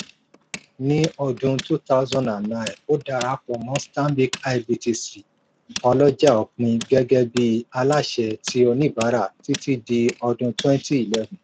ní ọdún 2009 ó dara pọ̀ mọ́ stanbic ibtc ọlọ́jà òpin gẹ́gẹ́ bíi aláṣẹ ti oníbàárà títí di ọdún 2011